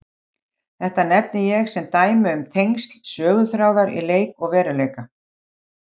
Þetta nefni ég sem dæmi um tengsl söguþráðar í leik og veruleik.